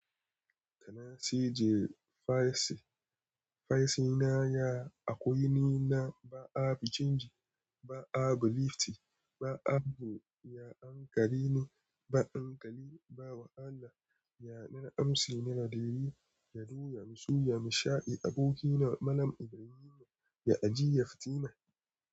Da na sije Faisi, Faisina ya a kwaini na ba a bincike, ba a beliefte, ba a bu, ya ankarini, ba ankali, ba wahala. Ya na amsi ni da diri, ya doya, ya musu, ya masha. Abokina Malam Ibrahim ya ajiye Fatima.